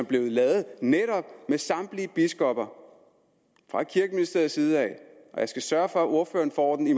blev lavet med samtlige biskopper fra kirkeministeriets side og jeg skal sørge for at ordføreren får den i